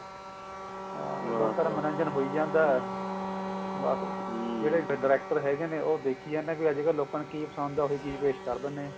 ਲੋਕਾਂ ਦਾ ਮਨੋਰੰਜਨ ਹੋਈ ਜਾਂਦਾ ਬਸ ਵ director ਹੈਗੇ ਨੇ ਉਹ ਦੇਖੀ ਜਾਂਦੇ ਵੀ ਅੱਜਕਲ ਲੋਕਾਂ ਨੂੰ ਕੀ ਪਸੰਦ ਹੈ ਉਹੀ ਚੀਜ਼ ਪੇਸ਼ ਕਰ ਦਿੰਦੇ ਨੇ